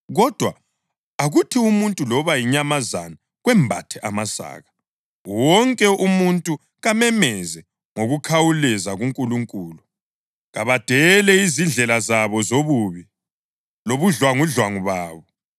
Kodwa akuthi umuntu loba yinyamazana kwembathe amasaka. Wonke umuntu kamemeze ngokukhawuleza kuNkulunkulu. Kabadele izindlela zabo zobubi lobudlwangudlwangu babo.